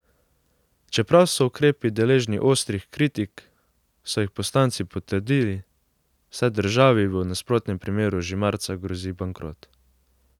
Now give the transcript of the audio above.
Čeprav so ukrepi deležni ostrih kritik, so jih poslanci potrdili, saj državi v nasprotnem primeru že marca grozi bankrot.